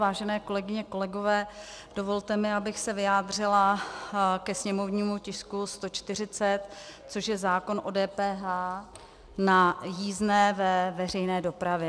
Vážené kolegyně, kolegové, dovolte mi, abych se vyjádřila ke sněmovnímu tisku 140, což je zákon o DPH na jízdné ve veřejné dopravě.